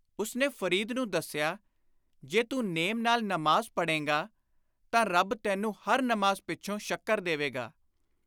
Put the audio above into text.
ਉਸਨੇ ਫ਼ਰੀਦ ਨੂੰ ਦੱਸਿਆ, “ਜੇ ਤੂੰ ਨੇਮ ਨਾਲ ਨਮਾਜ਼ ਪੜ੍ਹੋਂਗਾ ਤਾਂ ਰੱਬ ਤੈਨੂੰ ਹਰ ਨਮਾਜ਼ ਪਿੱਛੋਂ ਸ਼ੱਕਰ ਦੇਵੇਗਾ।